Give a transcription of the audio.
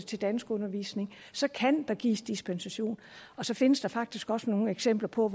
til danskundervisning så kan der gives dispensation så findes der faktisk også nogle eksempler på